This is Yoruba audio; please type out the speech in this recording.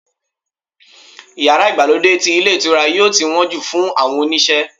iyara Igbalode ti ilé ìtura yíò tí won ju fun àwọn oníṣe